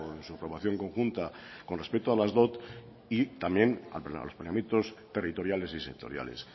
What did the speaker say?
en su formación conjunta con respecto a las dot y también a los planeamientos territoriales y sectoriales